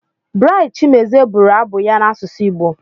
Bright Chimezie bụrụ abụ ya n'asụsụ Igbo.